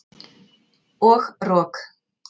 Og rok.